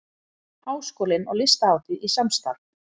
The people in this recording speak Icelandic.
Háskólinn og Listahátíð í samstarf